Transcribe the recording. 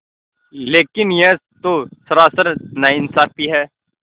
लेकिन यह तो सरासर नाइंसाफ़ी है